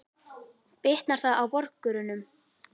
Bitnar það á borgurunum?